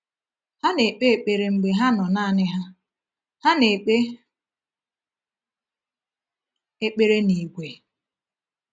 Ha na-ekpe ekpere mgbe ha nọ naanị ha; ha na-ekpe ekpere n’ìgwè.